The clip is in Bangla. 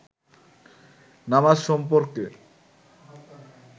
নামাজ সম্পর্কে